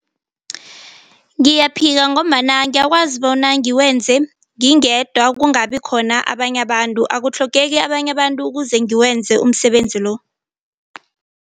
Ngiyaphika ngombana ngiyakwazi bona ngiwenze ngingedwa kungabikhona abanye abantu akutlhogeki abanye abantu kuze ngiwenze umsebenzi lo.